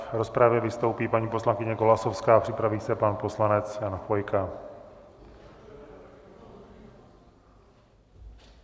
V rozpravě vystoupí paní poslankyně Golasowská, připraví se pan poslanec Jan Chvojka.